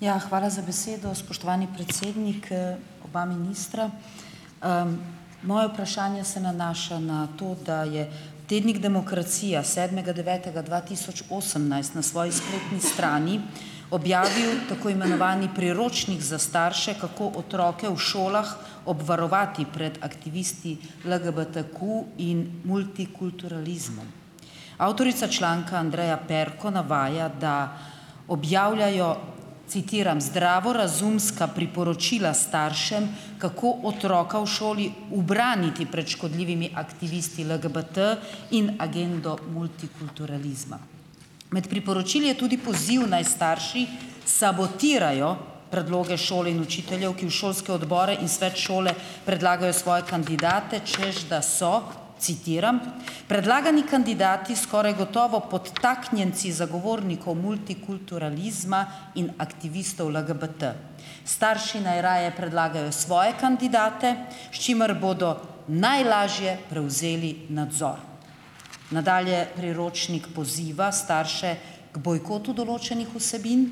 Ja, hvala za besedo. Spoštovani predsednik, oba ministra! Moje vprašanje se nanaša na to, da je tednik Demokracija sedmega devetega dva tisoč osemnajst na svoji spletni strani objavil tako imenovani priročnik za starše, kako otroke v šolah obvarovati pred aktivisti LGBTQ in multikulturalizmom. Avtorica članka Andreja Perko navaja, da objavljajo, citiram, zdravorazumska priporočila staršem, kako otroka v šoli ubraniti pred škodljivimi aktivisti LGBT in agendo multikulturalizma. Med priporočili je tudi poziv, naj starši sabotirajo predloge šole in učiteljev, ki v šolske odbore in svet šole predlagajo svoje kandidate, češ da so, citiram: "predlagani kandidati skoraj gotovo podtaknjenci zagovornikov multikulturalizma in aktivistov LGBT. Starši naj raje predlagajo svoje kandidate, s čimer bodo najlažje prevzeli nadzor." Nadalje priročnik poziva starše k bojkotu določenih vsebin,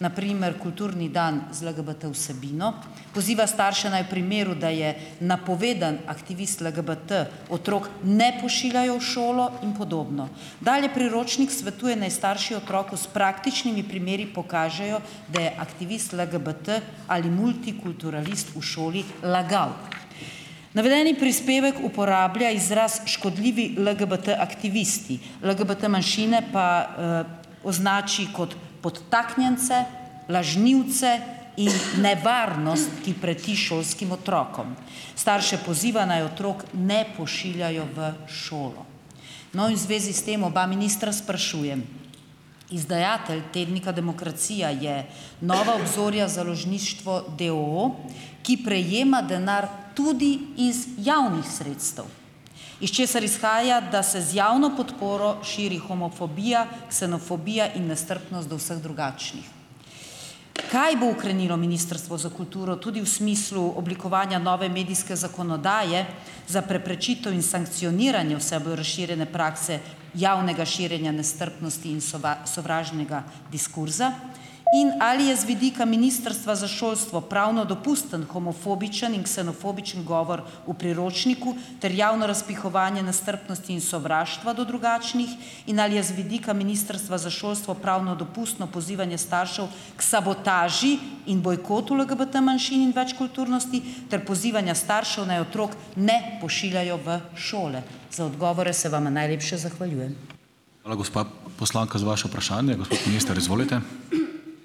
na primer kulturni dan z LGBT vsebino, poziva starše, naj v primeru, da je napovedan aktivist LGBT, otrok ne pošiljajo v šolo in podobno. Dalje priročnik svetuje, naj starši otroku s praktičnimi primeri pokažejo, da je aktivist LGBT ali multikulturalist v šoli lagal. Navedeni prispevek uporablja izraz "škodljivi LGBT aktivisti", LGBT manjšine pa označi kot "podtaknjence, lažnivce in nevarnost, ki preti šolskim otrokom". Starše poziva, naj otrok ne pošiljajo v šolo. No, in v zvezi s tem oba ministra sprašujem: "Izdajatelj tednika Demokracija je Nova obzorja Založništvo, d. o. o., ki prejema denar tudi iz javnih sredstev, iz česar izhaja, da se z javno podporo širi homofobija, ksenofobija in nestrpnost do vseh drugačnih. Kaj bo ukrenilo Ministrstvo za kulturo, tudi v smislu oblikovanja nove medijske zakonodaje, za preprečitev in sankcioniranje vse bolj razširjene prakse javnega širjenja nestrpnosti in sovražnega diskurza? In ali je z vidika Ministrstva za šolstvo pravno dopusten homofobičen in ksenofobičen govor v priročniku ter javno razpihovanje nestrpnosti in sovraštva do drugačnih in ali je z vidika Ministrstva za šolstvo pravno dopustno pozivanje staršev k sabotaži in bojkotu LGBT manjšin in večkulturnosti ter pozivanja staršu, naj otrok ne pošiljajo v šole?" Za odgovore se vama najlepše zahvaljujem.